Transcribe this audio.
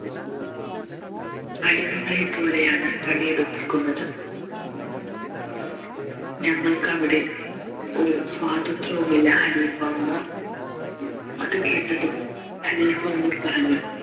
അടിമകളെ പോലെയാണ് പണി എടിപ്പിക്കുന്നത് ഞങ്ങൾക്കവിടെ ഒരു സ്വാതന്ത്ര്യവും ഇല്ല ഖലീഫ ഉമർ അത് കേട്ടതും ഖലീഫ ഉമർ പറഞ്ഞു